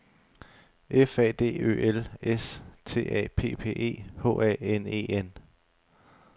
F A D Ø L S T A P P E H A N E N